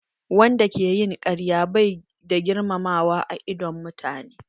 Wanda ke yin karya bai da girmamawa a idon mutane.